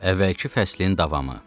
Əvvəlki fəslin davamı.